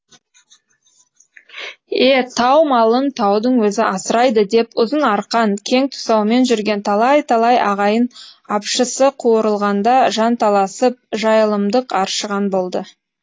е тау малын таудың өзі асырайды деп ұзын арқан кең тұсаумен жүрген талай талай ағайын апшысы қуырылғанда жанталасып жайылымдық аршыған болды